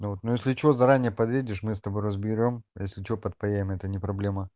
ну если что заранее подъедешь мы с тобой разберём если что подпаяем это не проблема